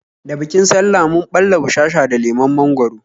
Da bikin sallah mun ɓalla bushasha da lemon mangwaro